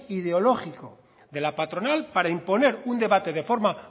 ideológico de la patronal para imponer un debate de forma